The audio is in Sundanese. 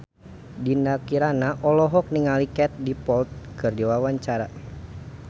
Dinda Kirana olohok ningali Katie Dippold keur diwawancara